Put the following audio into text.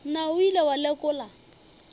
na o ile wa lekola